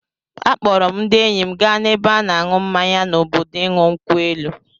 A kpọọrọ m ndị enyi m gaa n'ebe a na-ṅụ mmanya n'obodo ịṅụ nkwụ elu.